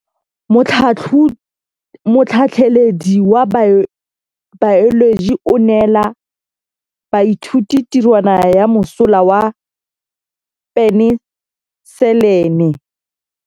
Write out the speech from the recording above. Motlhatlhaledi wa baeloji o neela baithuti tirwana ya mosola wa peniselene.